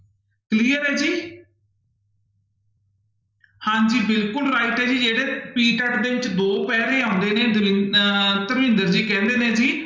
Clear ਹੈ ਜੀ ਹਾਂਜੀ ਬਿਲਕੁਲ right ਹੈ ਜੀ ਜਿਹੜੇ PTET ਦੇ ਵਿੱਚ ਦੋ ਪੈਰੇ ਆਉਂਦੇ ਨੇ ਦਰ ਅਹ ਧਰਮਿੰਦਰ ਜੀ ਕਹਿੰਦੇ ਨੇ ਜੀ